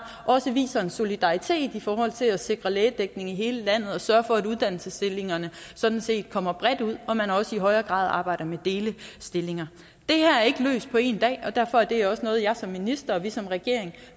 også viser en solidaritet i forhold til at sikre lægedækning i hele landet og sørger for at uddannelsesstillinger sådan set kommer bredt ud og at man også i højere grad arbejder med delestillinger det her er ikke løst på en dag og derfor er det også noget jeg som minister og vi som regering